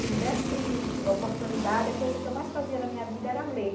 Se me desse oportunidade, a coisa que eu mais fazia na minha vida era ler.